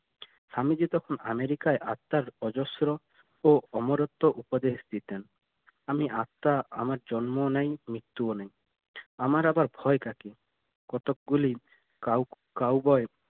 স্বামীজি তখন আমেরিকায় আর তার অজস্র ও অমরত্ব উপদেশ দিতেন আমি আত্মা আমার জন্ম ও নাই মৃত্যু ও নাই আমার আবার ভয় কাকে নিয়ে কতকগুলি cowboy